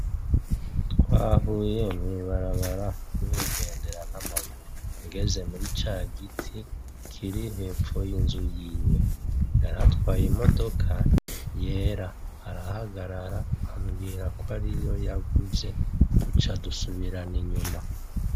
Twahuye mw'ibarabara ningendera n'amaguru, ngeze muri ca giti kiri hepfo y'inzu yiwe, yaratwaye imodoka yera arahagarara ambwira kariyo yaguze duca dusubirana inyuma.